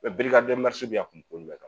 bɛ yan.